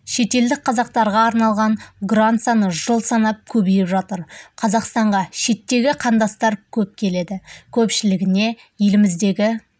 шетелдік қазақтарға арналған грант саны жыл санап көбейіп жатыр қазақстанға шеттегі қандастар көп келеді көпшілігіне еліміздегі